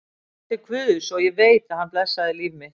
Ég bað til guðs, og ég veit að hann blessaði líf mitt.